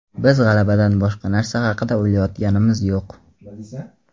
Biz g‘alabadan boshqa narsa haqida o‘ylayotganimiz yo‘q.